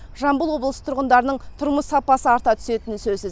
жамбыл облысы тұрғындарының тұрмыс сапасы арта түсетіні сөзсіз